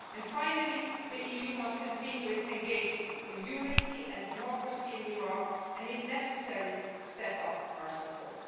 Finally, the EU must continue its engagement for unity and democracy in Iraq and, if necessary, step up our support.